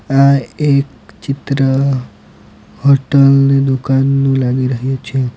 આ એક ચિત્ર હોટલ ની દુકાનનું લાગી રહ્યું છે.